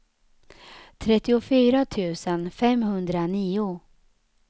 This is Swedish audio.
trettiofyra tusen femhundranio